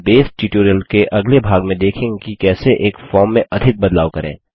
हम बसे ट्यूटोरियल के अगले भाग में देखंगे कि कैसे एक फॉर्म में अधिक बदलाव करें